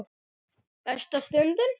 Versta stundin?